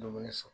Dumuni sɔrɔ